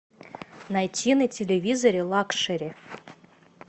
найти на телевизоре лакшери